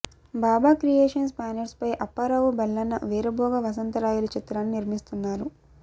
బాబా creations బ్యానర్పై అప్పారావు బెల్లన వీరభోగ వసంతరాయలు చిత్రాన్ని నిర్మిస్తున్నారు